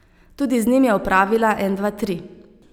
Tudi z njim je opravila en dva tri.